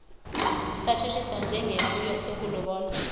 satshutshiswa njengesi sokulobola